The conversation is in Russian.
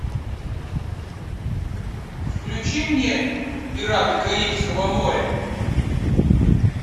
включи мне пираты карибского моря